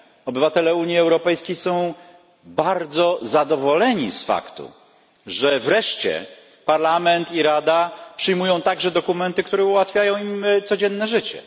Obywatele Unii Europejskiej są bardzo zadowoleni z faktu, że wreszcie Parlament i Rada przyjmują także dokumenty, które ułatwiają im codzienne życie.